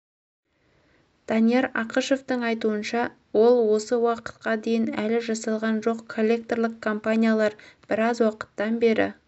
данияр ақышевтың айтуынша ол осы уақытқа дейін әлі жасалған жоқ коллекторлық компаниялар біраз уақыттан бері